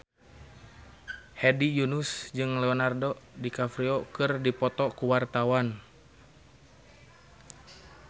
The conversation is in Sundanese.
Hedi Yunus jeung Leonardo DiCaprio keur dipoto ku wartawan